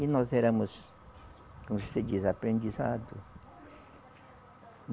E nós éramos, como se diz, aprendizado.